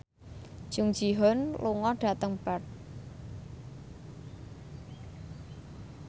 Jung Ji Hoon lunga dhateng Perth